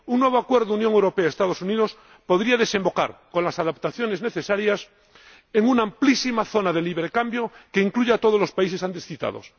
Un nuevo Acuerdo Unión Europea Estados Unidos podría desembocar, con las adaptaciones necesarias, en una amplísima zona de libre cambio que incluya a todos los países antes citados.